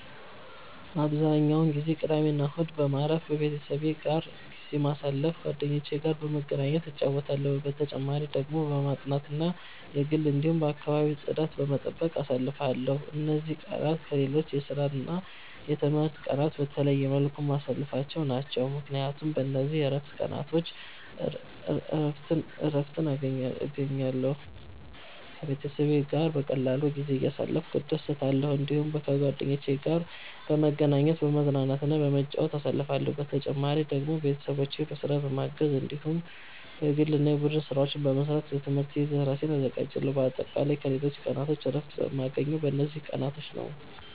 አብዛኛውን ጊዜ ቅዳሜና እሁድን በማረፍ፣ ቤተሰቤ ጋር ጊዜ በማሳለፋ ጓደኞቼ ጋር በመገናኘት እጫወታለሁ። በተጨማሪ ደግሞ በማጥናት እና የግል እንዲሁም የአከባቢ ጽዳት በመጠበቅ አሳልፍለሁ። እነዚህ ቀናት ከሌሎች የስራና የትምህርት ቀናት በተለየ መልኩ የማሳልፍቸው ናቸው፣ ምክንያቱም በእነዚህ የእረፍት ቀናቾች እረትን እገኛለሁ። ከቤተሰቤ ጋር በቀላሉ ጊዜ እያሳለፍኩ እደሰታለሁ። እዲሁም ከጓደኞቼ ጋር በመገናኘት፤ በመዝናናትና በመጫወት አሳልፍለሁ። በተጨማሪ ደግሞ ቤተሰቦቼን በስራ በማገዝ እንዲሁም የግል እና የቡድን ስራዎች በመስራት ለትምህርቴ እራሴን አዘጋጃለሁ። በአጠቃላይ ከሌሎች ቀናቶች እረፍት የማገኘው በእነዚህ ቀናቶች ነዉ።